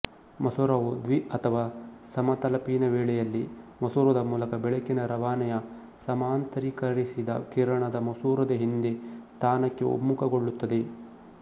ಮಸೂರವು ದ್ವಿ ಅಥವಾ ಸಮತಲಪೀನ ವೇಳೆಯಲ್ಲಿ ಮಸೂರದ ಮೂಲಕ ಬೆಳಕಿನ ರವಾನೆಯ ಸಮಾಂತರೀಕರಿಸಿದ ಕಿರಣದ ಮಸೂರದ ಹಿಂದೆ ಸ್ಥಾನಕ್ಕೆ ಒಮ್ಮುಖಗೊಳ್ಳುತ್ತದೆ